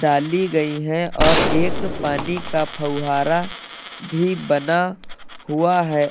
डाली गई है और एक पानी का फवारा भी बना हुआ है।